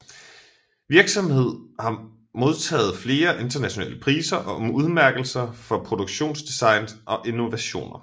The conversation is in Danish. Virksomheden har modtaget flere internationale priser og udmærkelser for produktdesign og innovationer